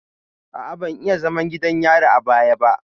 A'a, ban yi zaman gidan yari a baya ba.